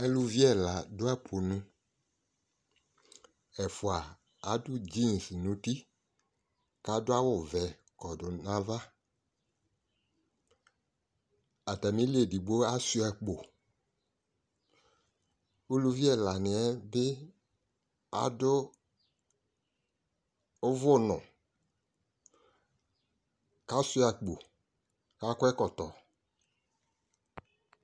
Alu ɛla do apu nu Ɛfua ado jeans no uti ko ado awuvɛ kɔdu nava Atame li, edigbo asua akpo, Uluvi ɛla neɛ be ado uvuno, kasua akpo ka kɔ ɛkɔtɔ